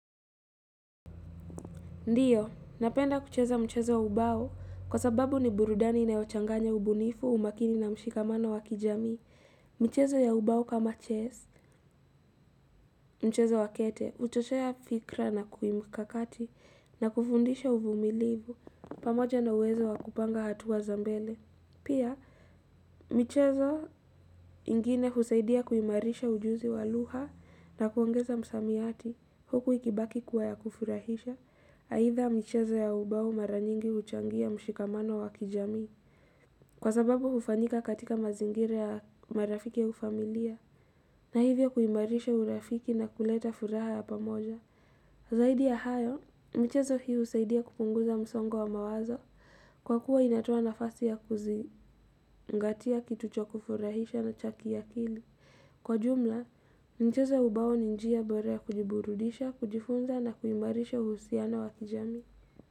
Ndiyo, napenda kucheza mchezo ya ubao kwa sababu ni burudani inayochanganya ubunifu umakini na mshikamano wa kijamii. Mchezo ya ubao kama chess, mchezo wa kete, utoshea fikra na kimkakati na kufundisha uvumilivu pamoja na uwezo wa kupanga hatua za mbele. Pia, michezo ingine husaidia kuimarisha ujuzi wa lugha na kuongeza msamiati huku ikibaki kuwa ya kufurahisha, haitha michezo ya ubau mara nyingi uchangia mshikamano wa kijami kwa sababu ufanika katika mazingire ya marafiki ya ufamilia na hivyo kuimarisha urafiki na kuleta furaha ya pamoja. Zaidi ya hayo, mchezo hii husaidia kupunguza msongo wa mawazo kwa kuwa inatoa nafasi ya kuzingatia kitu cha kufurahisha na cha kiakili. Kwa jumla, mchezo wa ubao ni njia bora ya kujiburudisha, kujifunza na kuimarisha uhusiano wa kijamii.